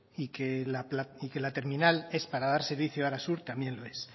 y que la terminal es para dar servicio a arasur también lo es